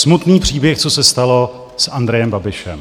Smutný příběh, co se stalo s Andrejem Babišem.